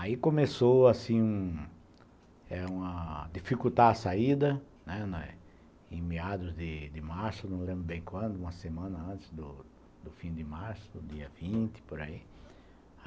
Aí começou assim a dificultar a saída, em meados de março, não lembro bem quando, uma semana antes do fim de março, dia vinte, por aí.